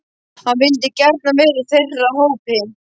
Hann vildi gjarnan vera í þeirra hópi.